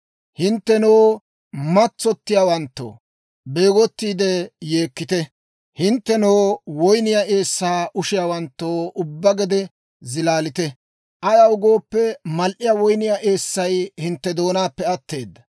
Hinttenoo matsottiyaawanttoo, beegottiide yeekkite! Hinttenoo, woyniyaa eessaa ushiyaawanttoo ubbaa gede, zilaalite! Ayaw gooppe, mal"iyaa woyniyaa eessay hintte doonaappe atteeda.